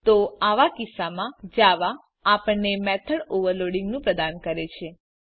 તો આવા કિસ્સામાં જાવા આપણને મેથોડ ઓવરલોડિંગ પ્રદાન કરે છે